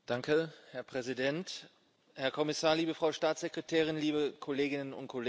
Herr Präsident, Herr Kommissar, liebe Frau Staatssekretärin, liebe Kolleginnen und Kollegen!